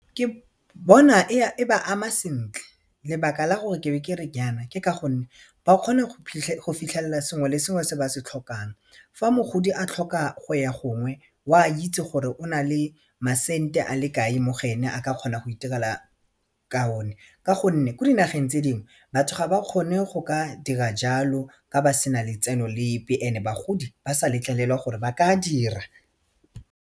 Ke bona e ba ama sentle lebaka la gore ke be ke re jaana ke ka gonne ba kgona go fitlhelela sengwe le sengwe se ba se tlhokang fa mogodi a tlhoka go ya gongwe o a itse gore o na le masente a le kae mo go ene a ka kgona go iterela ka o ne ka gonne ko dinageng tse dingwe batho ga ba kgone go ka dira jalo ka ba sena letseno lepe and-e bagodi ba sa letlelelwa gore ba ka dira.